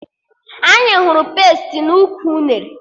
Anyị hụrụ pesti n'ukwu unere